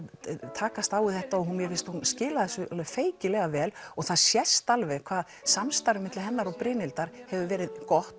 takast á við við þetta og mér finnst hún skila þessu alveg feikilega vel og það sést alveg hvað samstarfið milli hennar og Brynhildar hefur verið gott